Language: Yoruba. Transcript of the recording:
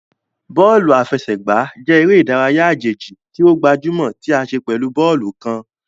Bóòlù àfẹsẹ̀gbá jẹ eré ìdárayá àjèjì ti o gbajúmò tí a ṣe pẹ̀lú bóòlù kán.